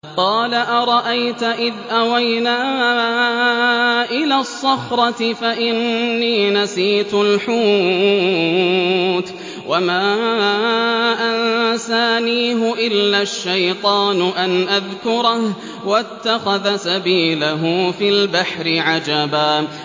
قَالَ أَرَأَيْتَ إِذْ أَوَيْنَا إِلَى الصَّخْرَةِ فَإِنِّي نَسِيتُ الْحُوتَ وَمَا أَنسَانِيهُ إِلَّا الشَّيْطَانُ أَنْ أَذْكُرَهُ ۚ وَاتَّخَذَ سَبِيلَهُ فِي الْبَحْرِ عَجَبًا